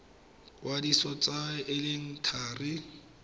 kwadisa tsalo e e thari